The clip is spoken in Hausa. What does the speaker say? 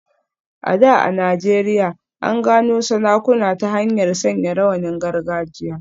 A da a Najeriya, an gano sarakuna ta hanyar sanya rawanin gargajiya.